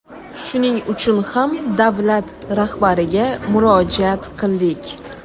Shuning uchun ham davlat rahbariga murojaat qildik.